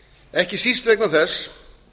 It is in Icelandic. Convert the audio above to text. ekki síst vegna þess